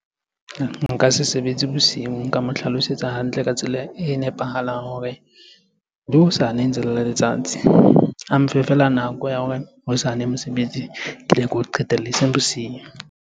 Nka se sebetse bosiu, nka mo hlalosetsa hantle ka tsela e nepahalang hore le hosane ntse le le letsatsi. A mfe feela nako ya hore hosane mosebetsi ke leke ho eseng bosiu.